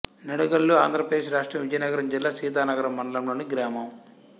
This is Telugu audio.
నిడగల్లు ఆంధ్ర ప్రదేశ్ రాష్ట్రం విజయనగరం జిల్లా సీతానగరం మండలంలోని గ్రామం